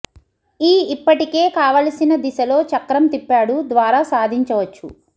ఈ ఇప్పటికే కావలసిన దిశలో చక్రం తిప్పాడు ద్వారా సాధించవచ్చు